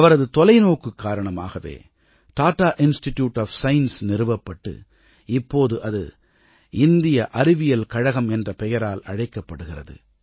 அவரது தொலைநோக்கு காரணமாகவே தட்டா இன்ஸ்டிட்யூட் ஒஃப் சயன்ஸ் நிறுவப்பட்டு இப்போது அது இந்திய அறிவியல் கழகம் என்ற பெயரால் அழைக்கப்படுகிறது